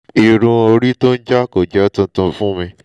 irun orí tó ń jaá kò jẹ́ tuntun fún mi